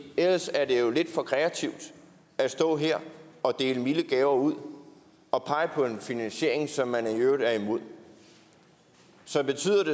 ellers er det jo lidt for kreativt at stå her og dele milde gaver ud og pege på en finansiering som man i øvrigt er imod så betyder